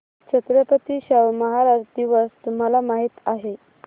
छत्रपती शाहू महाराज दिवस तुम्हाला माहित आहे